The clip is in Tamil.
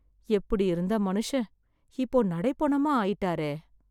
எப்படி இருந்த மனுஷன் இப்போ நடைப்பொணமா ஆயிட்டாரே.